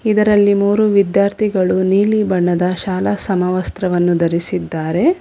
ಇದರಲ್ಲಿ ಮೂರು ವಿಧ್ಯಾರ್ಥಿಗಳು ನೀಲಿ ಬಣ್ಣದ ಶಾಲಾ ಸಮವಸ್ತ್ರವನ್ನು ಧರಿಸಿದ್ದಾರೆ.